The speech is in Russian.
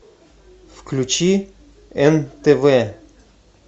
включи нтв